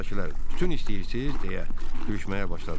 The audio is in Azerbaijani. Qayıqdakılar: Tütün istəyirsiz deyə gülüşməyə başladılar.